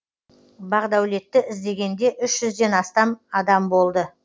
бақдәулетті іздегенде үш жүзден астам адам болды